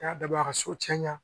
N y'a da a ka so cɛnna